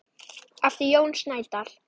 eftir Jón Snædal